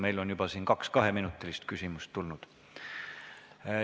Meil on siin juba kaks kaheminutilist küsimust kõlanud.